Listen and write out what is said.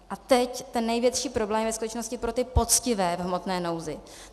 A teď ten největší problém je ve skutečnosti pro ty poctivé v hmotné nouzi.